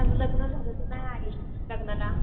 अगं माझं लग्न झालं तू नाही आली लग्नाला.